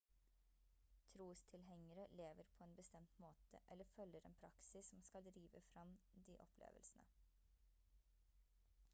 trostilhengere lever på en bestemt måte eller følger en praksis som skal drive frem de opplevelsene